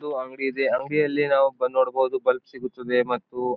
ಇದು ಅಂಗಡಿ ಇದೆ. ಅಂಗಡಿಯಲ್ಲಿ ನಾವು ಬಂದ್ ಮಾಡಬಹುದು ಬಲ್ಬ್ ಸಿಗುತ್ತದೆ ಮತ್ತು --